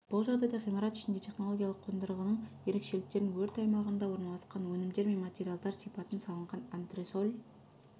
бұл жағдайда ғимарат ішінде технологиялық қондырғының ерекшеліктерін өрт аймағында орналасқан өнімдер мен материалдар сипатын салынған антресоль